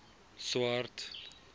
swart